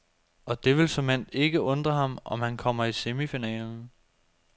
Og det vil såmænd ikke undre ham, om han kommer i semifinalen.